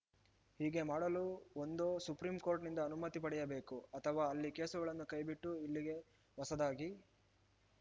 ಹೀಗೆ ಮಾಡಲು ಒಂದೋ ಸುಪ್ರೀಂಕೋರ್ಟ್‌ನಿಂದ ಅನುಮತಿ ಪಡೆಯಬೇಕು ಅಥವಾ ಅಲ್ಲಿ ಕೇಸುಗಳನ್ನು ಕೈಬಿಟ್ಟು ಇಲ್ಲಿಗೆ ಹೊಸದಾಗಿ